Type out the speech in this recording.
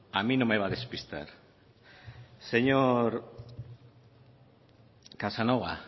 a mí no me va a despistar señor casanova